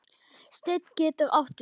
Steinn getur átt við